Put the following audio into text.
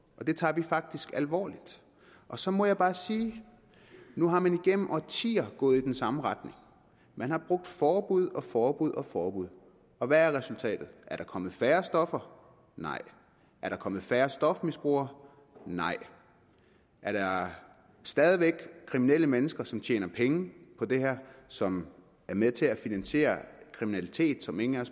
og det tager vi faktisk alvorligt og så må jeg bare sige nu er man igennem årtier gået i den samme retning man har brugt forbud og forbud og forbud og hvad er resultatet er der kommet færre stoffer nej er der kommet færre stofmisbrugere nej er der stadig væk kriminelle mennesker som tjener penge på det her og som er med til at finansiere kriminalitet som ingen af